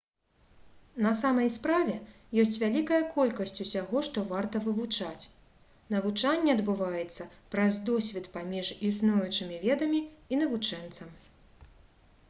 на самай справе ёсць вялікая колькасць усяго што варта вывучаць навучанне адбываецца праз досвед паміж існуючымі ведамі і навучэнцам